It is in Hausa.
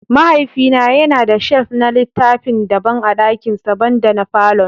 Mahaifina yana da shelf na littafi daban a dakinsa, banda na falon.